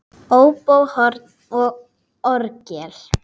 Óbó, horn og orgel.